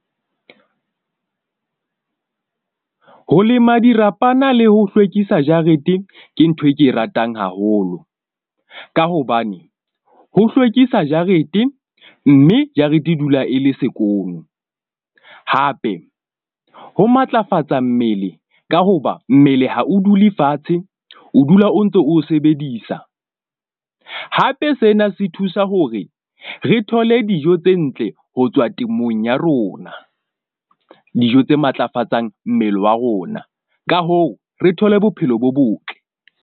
Ho lema dirapana le ho hlwekisa jarete ke ntho e ke e ratang haholo, ka hobane ho hlwekisa jarete. Mme jarete e dula e le sekolo hape ho matlafatsa mmele ka hoba mmele. Ha o dule fatshe, o dula o ntso o sebedisa hape sena se thusa hore re thole dijo tse ntle ho tswa temong ya rona, dijo tse matlafatsang mmele wa rona. Ka hoo, re thole bophelo bo botle.